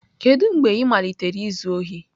Kedu mgbe ị malitere izu ohi?